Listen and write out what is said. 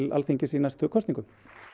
Alþingis í næstu kosningum